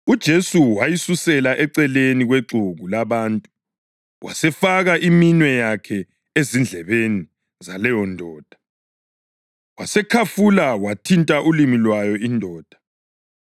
UJesu wayisusela eceleni kwexuku labantu wasefaka iminwe yakhe ezindlebeni zaleyondoda. Wasekhafula wathinta ulimi lwayo indoda.